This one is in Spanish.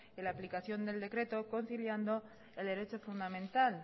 en la aplicación del decreto conciliando el derecho fundamental